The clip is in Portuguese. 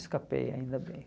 Escapei, ainda bem.